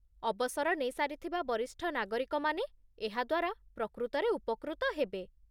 ଅବସର ନେଇସାରିଥିବା ବରିଷ୍ଠ ନାଗରିକମାନେ ଏହା ଦ୍ୱାରା ପ୍ରକୃତରେ ଉପକୃତ ହେବେ ।